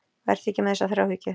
Vertu ekki með þessa þráhyggju.